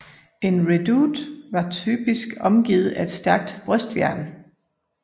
En redoute var typisk omgivet af et stærkt brystværn